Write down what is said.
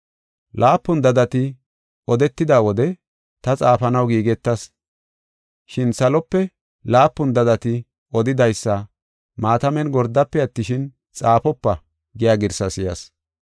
Laapun dadati odetida wode ta xaafanaw giigetas. Shin salope, “Laapun dadati odidaysa maatamen gordafe attishin, xaafopa” giya girsaa si7as.